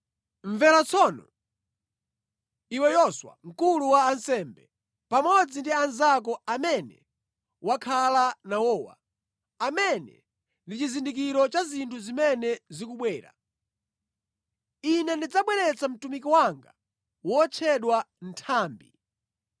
“ ‘Mvera tsono, iwe Yoswa mkulu wa ansembe, pamodzi ndi anzako amene wakhala nawowa, amene ndi chizindikiro cha zinthu zimene zikubwera: Ine ndidzabweretsa mtumiki wanga, wotchedwa Nthambi.